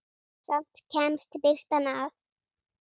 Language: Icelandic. Samt kemst birtan að.